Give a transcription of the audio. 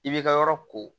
I b'i ka yɔrɔ ko